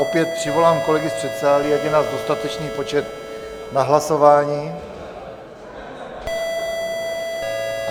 Opět přivolám kolegy z předsálí, ať je nás dostatečný počet na hlasování.